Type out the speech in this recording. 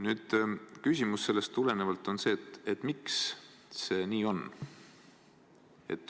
Nüüd, sellest tulenevalt on küsimus, et miks see nii on.